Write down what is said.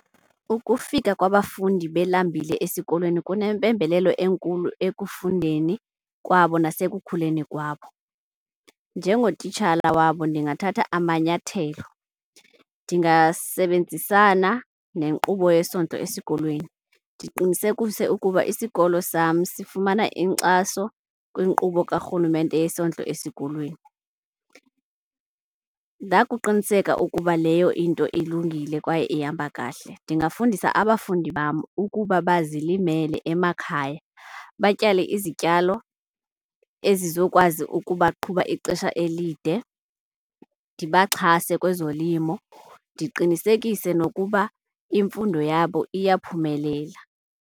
Ukufika kwabafundi belambile esikolweni kunempembelelo enkulu ekufundeni kwabo nasekukhuliseni kwabo. Njengotitshala wabo ndingathatha amanyathelo. Ndingasebenzisana nenkqubo yesondlo esikolweni, ndiqinisekise ukuba isikolo sam sifumana inkxaso kwinkqubo karhulumente yesondlo esikolweni. Ndakuqiniseka ukuba leyo into ilungile kwaye ihamba kahle ndingabafundisa abafundi bam ukuba bazilimele emakhaya. Batyale izityalo ezizokwazi ukuba qhuba ixesha elide, ndibaxhase kwezolimo. Ndiqinisekise nokuba imfundo yabo iyaphumelela.